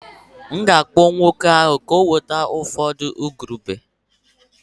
M'gākpọ nwoke ahu ka ọ weta ufọdu igurube